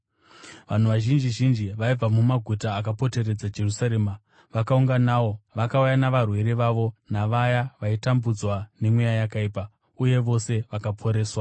Vanhu vazhinji zhinji vaibva mumaguta akapoteredza Jerusarema vakaunganawo, vakauya navarwere vavo navaya vaitambudzwa nemweya yakaipa, uye vose vakaporeswa.